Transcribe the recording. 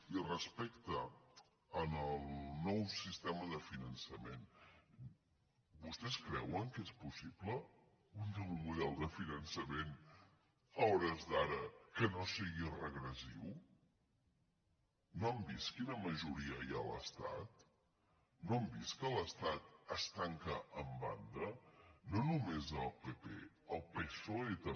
i respecte al nou sistema de finançament vostès cre·uen que és possible un nou model de finançament a hores d’ara que no sigui regressiu no han vist qui·na majoria hi ha a l’estat no han vist que l’estat s’hi tanca en banda no només el pp el psoe també